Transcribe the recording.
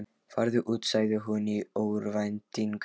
Farðu út, sagði hann í örvæntingu.